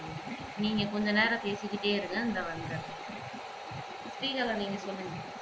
நீங்க கொஞ்ச நேரம் பேசிகிட்டே இருங்க இதோ வந்துட்றன் ஸ்ரீகலா நீங்க சொல்லுங்க